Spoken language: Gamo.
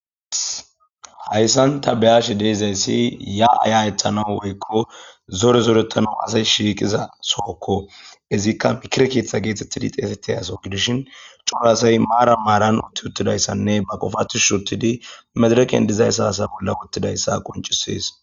hayssan ta beyashe de'izayssi ya'a ya'etanawu woykko zore zorettana asay shiiqiza sookko izikka mikire keeththa geetettidi xeeseti yaso gidishin coraasay maara maaran utti uttidayssanne ba qofathushis uttidi medereken dizayssa hasa bolla uttidayssa qoncises